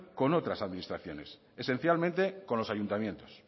con otras administraciones esencialmente con los ayuntamientos